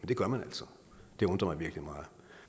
det gør man altså og det undrer mig virkelig meget